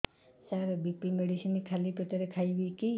ସାର B P medicine ଖାଲି ପେଟରେ ଖାଇବି କି